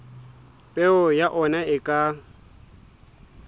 peo ya ona e ka